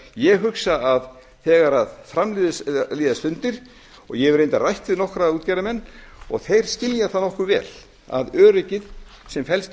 ég hugsa að þegar fram líða stundir og ég hef reyndar rætt við nokkra útgerðarmenn og þeir skilja það nokkuð vel að öryggið sem felst í